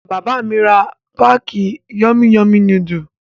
Bàbá mi ra páákì Yummy Yummy núdúlù.